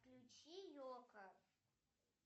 включи йоко